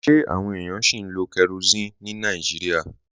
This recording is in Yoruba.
Ṣe awọn ènìyàn sì ń lo kérosínì ní Nàìjíríà?